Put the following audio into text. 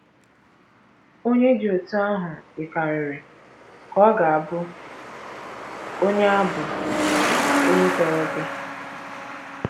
Onye dị otú ahụ yikarịrị ka ọ ga - abụ onye - abụ onye tọrọ gị.